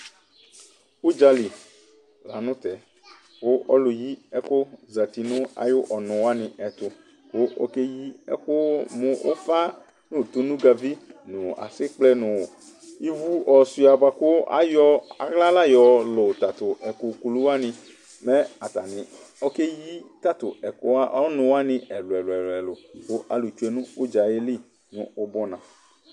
Ʊdzalɩ la nʊ tɛ kʊ ɔlʊ yɩ ɛkʊ zeti nʊ ayɩ ɔnʊ wanɩ tʊ kʊ okeyɩ ɛkʊ mʊ ʊfa nʊ tonegavi nʊ asɩgblɛ nʊ ɩvʊ ɔsɩa bakʊ ayɔ aɣla la yɔ lʊ tatʊ ɛkʊ kʊlʊ wanɩ Mɛ atanɩ ɔkeyɩ tʊ ɛkʊwanɩ ɛlʊ ɛlʊ Kʊ alʊ tsoe nʊ ʊdzá yɛ lɩ nʊ ʊbɔna